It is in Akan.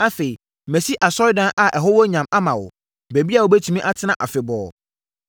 Afei, masi Asɔredan a ɛho wɔ nyam ama wo, baabi a wobɛtumi atena afebɔɔ.”